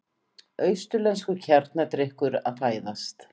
Austurlenskur kjarnadrykkur að fæðast.